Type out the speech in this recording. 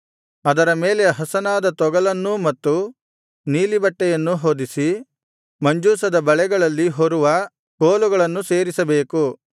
ಅದರ ಮೇಲೆ ಹಸನಾದ ತೊಗಲನ್ನೂ ಮತ್ತು ನೀಲಿ ಬಟ್ಟೆಯನ್ನೂ ಹೊದಿಸಿ ಮಂಜೂಷದ ಬಳೆಗಳಲ್ಲಿ ಹೊರುವ ಕೋಲುಗಳನ್ನು ಸೇರಿಸಬೇಕು